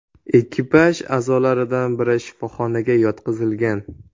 Ekipaj a’zolaridan biri shifoxonaga yotqizilgan.